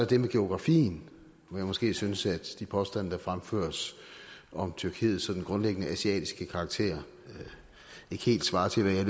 det med geografien hvor jeg måske synes de påstande der fremføres om tyrkiets sådan grundlæggende asiatiske karakter ikke helt svarer til hvad